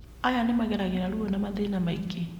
Aya nĩmageragĩra rũo na mathĩna maingĩ